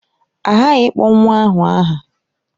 A ghaghị ịkpọ nwa ahụ aha.